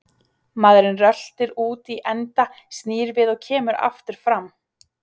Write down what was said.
Maðurinn röltir út í enda, snýr við og kemur aftur fram.